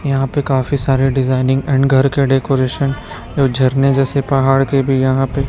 यहां पे काफी सारे डिजाइनिंग एंड घर के डेकोरेशन जो झरने जैसे पहाड़ के भी यहां पे--